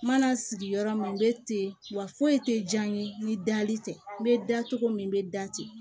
N mana sigi yɔrɔ min n bɛ ten wa foyi tɛ diya n ye ni dali tɛ n bɛ da cogo min n bɛ da ten